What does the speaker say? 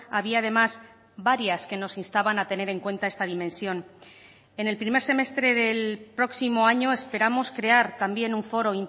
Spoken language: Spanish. había además varias que nos instaban a tener en cuenta esta dimensión en el primer semestre del próximo año esperamos crear también un foro